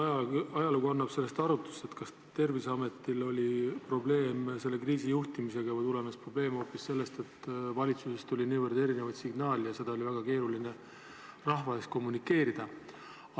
Ma loodan, et aeg annab arutust, kas Terviseametil oli probleeme selle kriisi juhtimisega või tulenes probleem hoopis sellest, et valitsusest tuli niivõrd erinevaid signaale ja neid oli väga keeruline rahvale kommunikeerida.